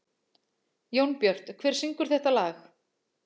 Jónbjört, hver syngur þetta lag?